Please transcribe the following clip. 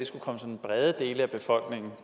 skulle komme sådan brede dele af befolkningen